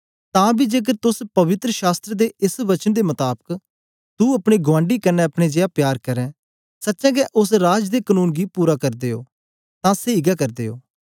तां बी जेकर तोस पवित्र शास्त्र दे एस वचन दे मताबक तू अपने गुआंडी कन्ने अपने जेया प्यार करें सचें गै ओस राज दे कनून गी पूरा करदे ओ तां सेई गै करदे ओ